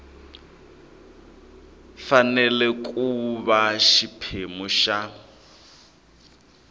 fanele ku va xiphemu xa